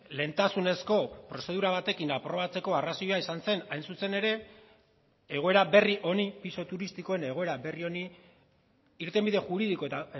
lehentasunezko prozedura batekin aprobatzeko arrazoia izan zen hain zuzen ere egoera berri honi pisu turistikoen egoera berri honi irtenbide juridiko eta